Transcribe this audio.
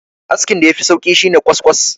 askin da ya Fi sauki shi ne kwaskwas